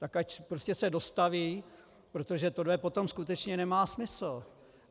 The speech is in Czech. Tak ať prostě se dostaví, protože tohle potom skutečně nemá smysl.